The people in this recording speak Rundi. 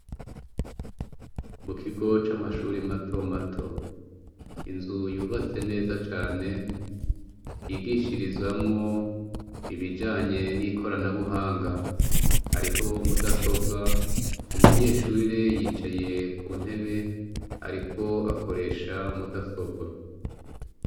Mu kigo camashure matomato ,inzu yubatse neza cane ,yigishirizamwo ibijanye nikorana buhanga , hariho mudasobwa umunyeshure yicaye kuntebe ariko akoresha mudasobwa.